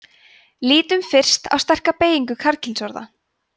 lítum fyrst á sterka beygingu karlkynsorða